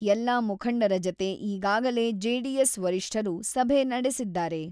ಎಲ್ಲ ಮುಖಂಡರ ಜತೆ ಈಗಾಗಲೇ ಜೆಡಿಎಸ್ ವರಿಷ್ಠರು ಸಭೆ ನಡೆಸಿದ್ದಾರೆ.